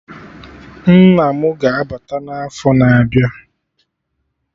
Nna mụ ga-abata n'afọ na-abịa